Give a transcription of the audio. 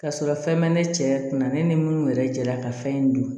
Ka sɔrɔ fɛn bɛ ne cɛ kun na ne ni minnu yɛrɛ jɛla ka fɛn in dun